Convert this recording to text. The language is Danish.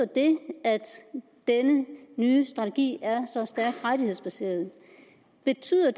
det at denne nye strategi er så stærkt rettighedsbaseret betyder